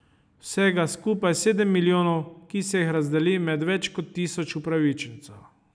Vsega skupaj sedem milijonov, ki se jih razdeli med več kot tisoč upravičencev.